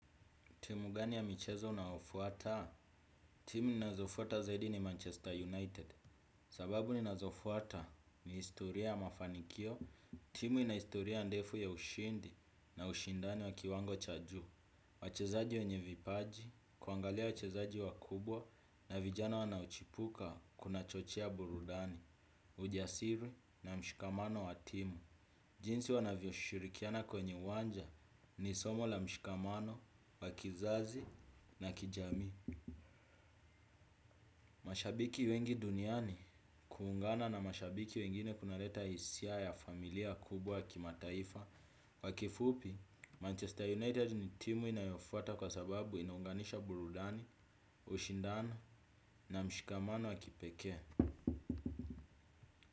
Timu gani ya michezo unaofuata? Timu ninazofuata zaidi ni Manchester United. Sababu ninazofuata ni historia ya mafanikio. Timu ina historia ndefu ya ushindi na ushindani wa kiwango cha juu. Wachezaji wenye vipaji, kuangalia wachezaji wakubwa na vijana wanaochipuka kunachochea burudani. Ujasiri na mshikamano wa timu. Jinsi wanavyoshughulikiana kwenye uwanja ni somo la mshikamano, wa kizazi na kijamii. Mashabiki wengi duniani kuungana na mashabiki wengine kunaleta hisia ya familia kubwa kimataifa. Kwa kifupi, Manchester United ni timu inayofuata kwa sababu inaunganisha burudani, ushindano na mshikamano wa kipekee.